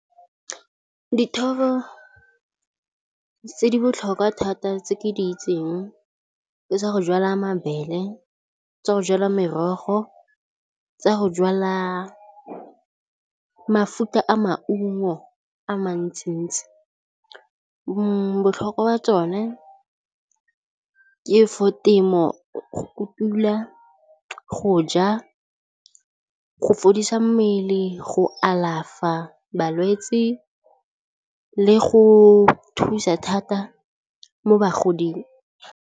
Dithoto tse di botlhokwa thata tse ke di itseng ke tsa go jwala mabele, tsa go jwala merogo, tsa go jwala mefuta ya maungo a mantsintsi. Botlhokwa jwa tsone ke for temo, go kutula, go ja, go fodisa mmele, go alafa balwetsi le go thusa thata mo bagoding.